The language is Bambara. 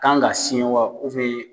Kan ka siyɛn wa